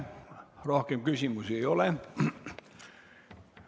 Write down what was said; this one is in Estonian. Rohkem küsimusi ei ole.